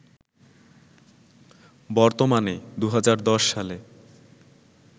বর্তমানে, ২০১০ সালে